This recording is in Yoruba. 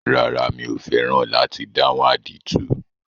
Rárá, mi ò fẹ́ràn láti dáhùn àdìtú.